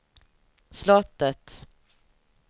slottet